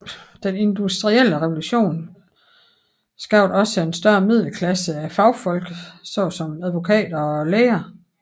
Den industrielle revolution skabte en større middelklasse af fagfolk såsom advokater og læger